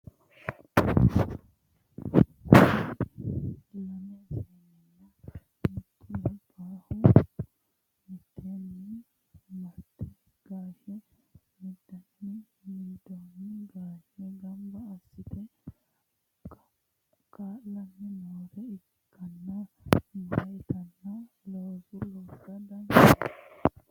kuri lame seenunna mittu labbahu miteenni marte gaashe mindooniwa mindooni gaashe gamba assate ka'laanni noore ikkanna meyaatino looso loosa danchate.